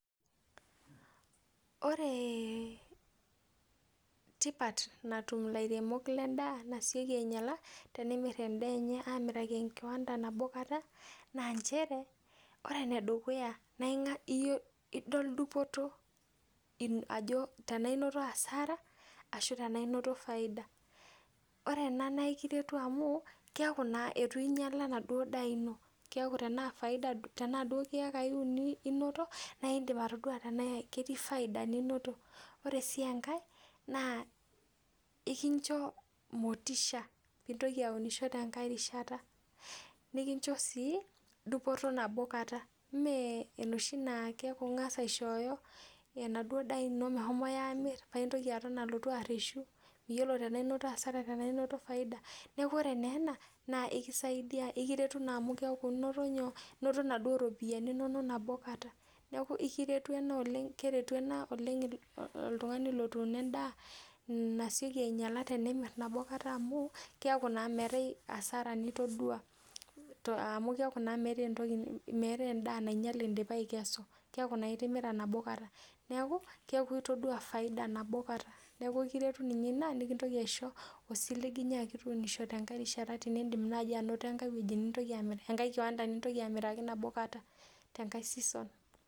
Ore tipat natum ilairemok lendaa nasioki ainyiala tenemirr endaa enye amiraki enkiwanda abo kata naa nchere ore enedukuya naing'a idol dupoto ino ajo tenainoto asara ashu tanainoto faida ore ena naa ikiretu amu kiaku naa etu inyiala enaduo daa ino kiaku tenaa faida duo tenaa duo kiyakai uni inoto naindip atodua tenaa ketii faida ninoto ore sii enkae naa ikincho motisha pintoki aunisho tenkae rishata nikincho sii dupoto nabo kata ime enoshi keku ing'as aishooyo enaduo daa ino mehomoi amirr paintoki aton alotu arreshu miyiolo tanaa inoto faida tanaa inoto asara neku ore naa ena naa ikisaidia ikiretu naa amu keeku inoto nyoo inoto inaduo ropiani iinonok nabo kata neku ikiretu ena oleng, keretu ena oleng iltung'ani lotuuno endaa nasioki ainyiala tenemirr nabo kata amu kiaku naa metae asara nitodua to amu kiaku naa meetae entoki meetae endaa nainyiale indipa aikesu keku naa indipa atimira nabo kata neku keaku itodua faida nabo kata neku kiretu ninye ina nikintoki aisho osiligi nyaki tuunisho tenkae rishata tinindim naaji anoto enkae wueji nintoki enkae kiwanda nintoki amiraki nabo kata tenkae season.